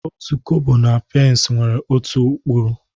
Otu Kobo na otu pence nwere otu ụkpụrụ